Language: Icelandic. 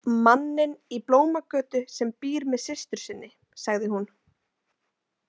Manninn í Blómagötu sem býr með systur sinni, sagði hún.